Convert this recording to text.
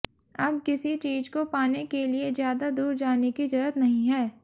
अब किसी चीज को पाने के लिए ज्यादा दूर जाने की जरूरत नहीं है